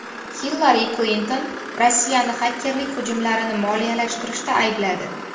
Hillari Klinton Rossiyani xakerlik hujumlarini moliyalashtirishda aybladi.